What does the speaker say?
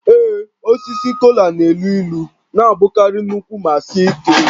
Ee, osisi kola na-elu ilu na-abụkarị nnukwu ma sie ike